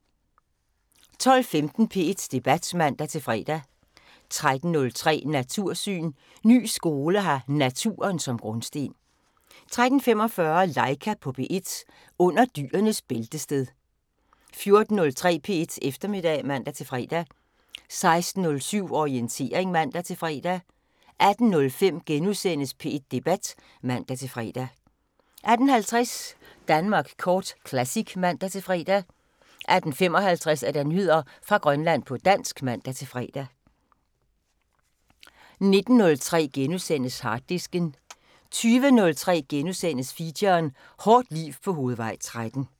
12:15: P1 Debat (man-fre) 13:03: Natursyn: Ny skole har naturen som grundsten 13:45: Laika på P1 – under dyrenes bæltested 14:03: P1 Eftermiddag (man-fre) 16:07: Orientering (man-fre) 18:05: P1 Debat *(man-fre) 18:50: Danmark Kort Classic (man-fre) 18:55: Nyheder fra Grønland på dansk (man-fre) 19:03: Harddisken * 20:03: Feature: Hårdt liv på Hovedvej 13 *